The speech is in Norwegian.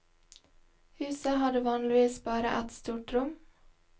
Huset hadde vanligvis bare ett stort rom.